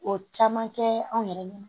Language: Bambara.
O caman kɛ anw yɛrɛ ɲɛna